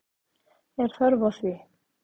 Er þörf á því?